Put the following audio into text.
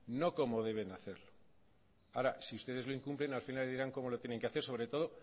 no cómo deben hacer ahora si ustedes lo incumplen al final dirán como lo tienen que hacer sobre todo